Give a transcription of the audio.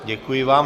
Děkuji vám.